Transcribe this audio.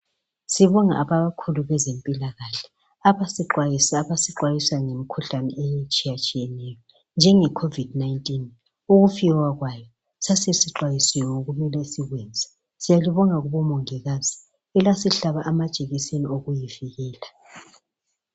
Sibonge abakhulu bezempikahle abasixwayisa ngemikhuhlane etshiyatshiyeneyo njenge khovidi nayintini. Ukufika kwayo sasesixwayisiwe ngokwakumele sikwenze. Siyalibonga kubomongikazi elasihlaba amajekiseni okokuyivikela.